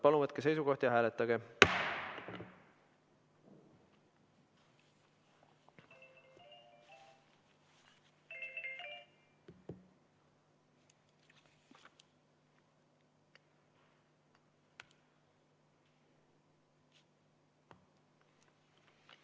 Palun võtke seisukoht ja hääletage!